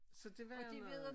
Så det var noget